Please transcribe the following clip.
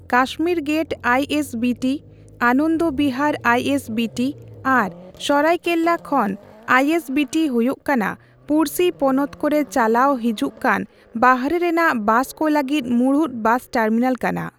Kashmir gate I S B T, Anand Vihar, I S B T, ᱟᱨ ᱥᱟᱨᱟᱭ ᱠᱟᱞᱮ ᱠᱷᱟᱱ ᱟᱭ ᱮᱥ ᱵᱤ ᱴᱤ ᱦᱩᱭᱩᱜ ᱠᱟᱱᱟ ᱯᱩᱲᱥᱤ ᱯᱚᱱᱚᱛ ᱠᱚᱨᱮ ᱪᱟᱞᱟᱣ ᱦᱩᱡᱩᱜ ᱠᱟᱱ ᱵᱟᱦᱨᱮ ᱨᱮᱱᱟᱜ ᱵᱟᱥᱠᱚ ᱞᱟᱹᱜᱤᱫ ᱢᱩᱲᱩᱫ ᱵᱟᱥ ᱴᱟᱨᱢᱤᱱᱟᱞ ᱠᱟᱱᱟ ᱾